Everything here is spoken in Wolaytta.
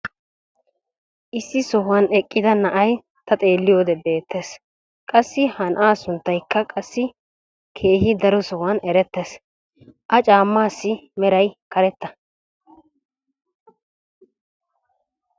issi sohuwan eqqida na'ay ta xeeliyoode beetees. qassi ha na'aa sunttaykka qassi keehi daro sohuwan eretees. a caamaassi meray karetta.